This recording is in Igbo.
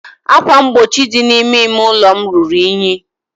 ákwà mgbochi dị n'ime ime ụlọ m ruru unyi.